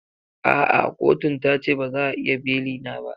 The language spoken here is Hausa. A'a kotun ta ce ba za a iya beli na ba.